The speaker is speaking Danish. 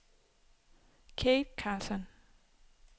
Kathe Carlsson